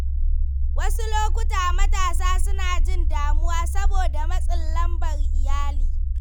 Wasu lokuta matasa suna jin damuwa saboda matsin lambar iyali.